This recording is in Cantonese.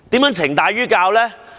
何謂懲大於教呢？